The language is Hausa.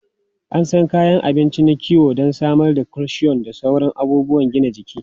An san kayan abinci na kiwo don samar da calcium da sauran abubuwan gina jiki.